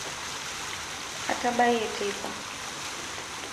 atabayie teipa